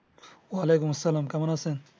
ওয়ালাইকুম আসসালাম কেমন আছেন?